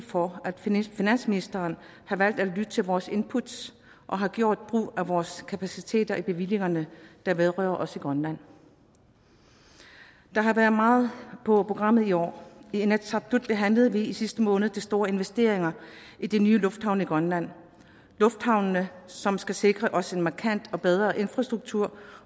for at finansministeren har valgt at lytte til vores input og har gjort brug af vores kapaciteter i bevillingerne der vedrører os i grønland der har været meget på programmet i år i inatsisartut behandlede vi i sidste måned de store investeringer i de nye lufthavne i grønland lufthavne som skal sikre os en markant og bedre infrastruktur